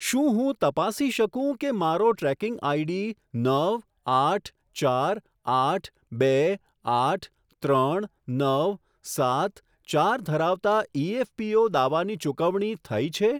શું હું તપાસી શકું કે મારો ટ્રેકિંગ આઈડી નવ આઠ ચાર આઠ બે આઠ ત્રણ નવ સાત ચાર ધરાવતા ઇએફપીઓ દાવાની ચુકવણી થઈ છે?